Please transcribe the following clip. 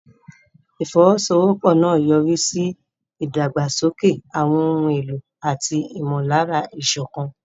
Ìfọwọ́sowọ́pọ̀ náà yọrí sí ìdàgbàsókè àwọn ohun èlò àti ìmọ̀lára ìṣọ̀kan.